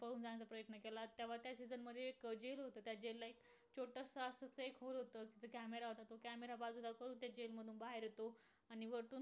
नांदुरेश्वरमधी नांदूर मधमेश्वर तालुका निफाड जिल्हा नाशिक कादवा व गोदावरी संगमा जवळ नांदूर मधमेश्वर जलाशयाच्या सानिध्यातील पक्षांच्या वास्तव्यासाठी प्रसिद्ध असणारे वनक्षेत्र म्हणजे नांदूर मधमेश्वर